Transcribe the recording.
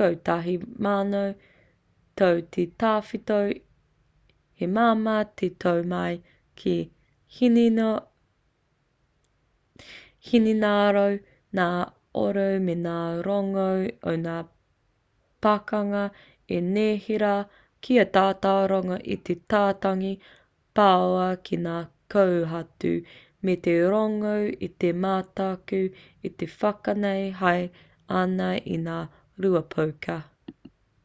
kotahi mano tau te tawhito he māmā te tō mai ki te hinengaro ngā oro me ngā rongo o ngā pakanga i neherā kia tata rongo i te tatangi pāua ki ngā kōhatu me te rongo i te mataku e whanake haere ana i ngā rua poka